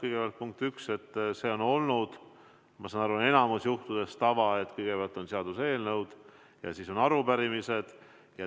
Kõigepealt, punkt üks, see on olnud, ma saan aru, enamikul juhtudel tava, et kõigepealt on seaduseelnõud ja siis on arupärimised.